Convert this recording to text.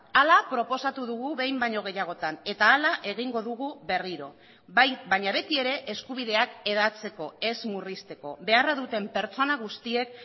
hala proposatu dugu behin baino gehiagotan eta hala egingo dugu berriro bai baina betiere eskubideak hedatzeko ez murrizteko beharra duten pertsona guztiek